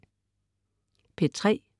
P3: